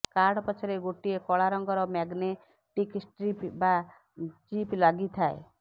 card ପଛରେ ଗୋଟିଏ କଳା ରଙ୍ଗର ମ୍ୟାଗ୍ନେଟିକ୍ ଷ୍ଟ୍ରିପ୍ ବା ଚିପ୍ ଲାଗିଥାଏ